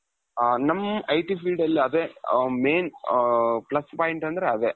ಹ ನಮ್ IT field ಅಲ್ಲಿ ಅದೇ main ಅ plus point ಅಂದ್ರೆ ಅದೇ.